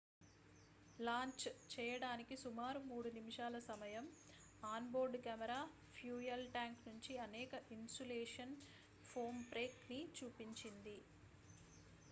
launch చేయడానికి సుమారు 3 నిమిషాల సమయం on board camera fuel tank నుంచి అనేక ఇన్సులేషన్ ఫోమ్ బ్రేక్ ని చూపించింది